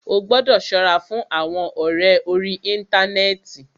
Ó gbọ́dọ̀ ṣọ́ra fún àwọn ọ̀rẹ orí íntanẹ́ẹ̀ti.